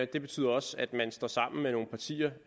det betyder også at man står sammen med nogle partier